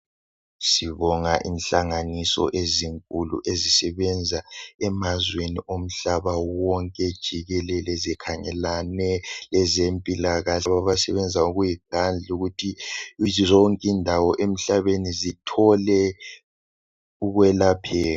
Sibonga inhlanganiso ezinkulu ezisebenza emazweni omhlaba wonke jikelele zikhangelane lezempilakahle abasebenza ngokuyikhandla ukuthi zonke indawo emhlabeni zithole ukwelapheka.